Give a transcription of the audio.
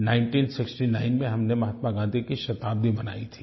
1969 में हमने महात्मा गाँधी की शताब्दी मनाई थी